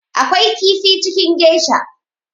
Akwai kifi cikin geisha